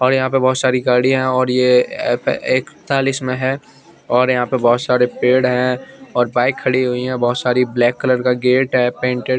और यहा पर बहोत सारी गाड़िया है और ये एक तालिश में है और यह पे बहोत सारे पेड़ है और बाइक खड़ी हुई है बहुत सारी ब्लैक कलर का गेट है पेंटेड --